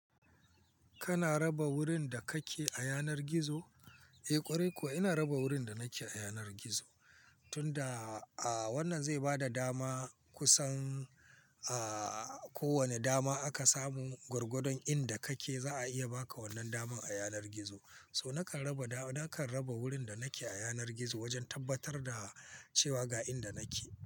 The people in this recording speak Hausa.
Kana raba wurin da kake a yanar gizo? Eh ƙwarai kuwa ina raba wurin da nake a yanar gizo, tunda, ah wannan zai bada dama kusan, ah ko wane dama aka samu gurgudon inda kake za a iya baka wannan daman a yanar gizo. So nakan raba da, nakan raba wurin da nake a yanar gizo wajen tabbatar da cewa ga inda nake.